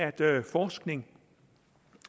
at der er forskning